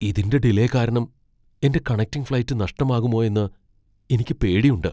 ഇതിന്റെ ഡിലേ കാരണം എന്റെ കണക്റ്റിംഗ് ഫ്ലൈറ്റ് നഷ്ടമാകുമോയെന്ന് എനിക്ക് പേടിയുണ്ട്.